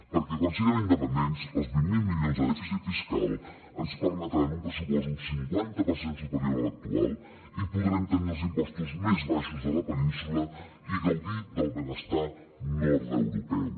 perquè quan siguem independents els vint miler milions de dèficit fiscal ens permetran un pressupost un cinquanta per cent superior a l’actual i podrem tenir els impostos més baixos de la península i gaudir del benestar nord europeu